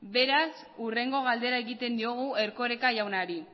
beraz hurrengo galdera egiten diogu erkoreka jaunari